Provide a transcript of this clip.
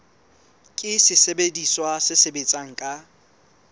ke sesebediswa se sebetsang ka